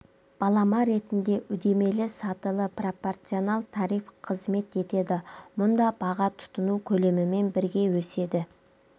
балама ретінде үдемеәлі сатылы пропорционал тариф қызмет етеді мұнда баға тұтыну көлемімен бірге өседі